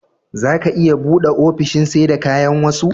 zaga iya buɗe ofishin seda kayan wasa